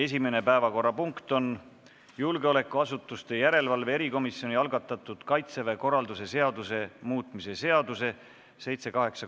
Esimene päevakorrapunkt on julgeolekuasutuste järelevalve erikomisjoni algatatud Kaitseväe korralduse seaduse muutmise seaduse uuesti arutamine.